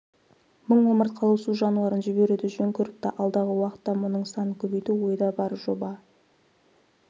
мың омыртқалы су жануарын жіберуді жөн көріпті алдағы уақытта мұның санын көбейту ойда бар жоба